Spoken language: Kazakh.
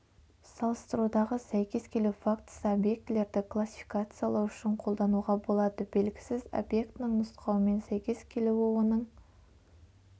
салыстырудағы сәйкес келу фактісі объектілерді классификациялау үшін қолдануға болады белгісіз объектінің нұсқауымен сәйкес келуі оның